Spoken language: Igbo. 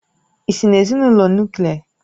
Ị́si n'ezinụlọ Nuklià?